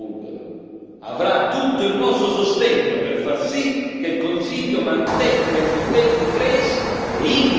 dico alla Presidenza bulgara avrà tutto il nostro sostegno per far sì che il Consiglio mantenga gli impegni presi e integri questi paesi nello spazio Schengen.